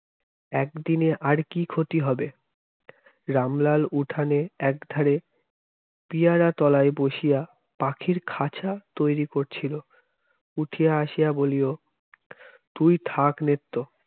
একদিনে আর কি ক্ষতি হবে রামলাল উঠানে একধারে পিয়ারা তলায় বসিয়া পাখির খাঁচা তৈরি করছিল উঠিয়া বলিল তুই থাক নেত্য